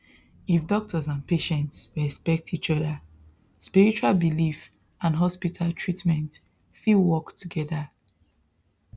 if doctors and patients respect each other spiritual belief and hospital treatment fit work together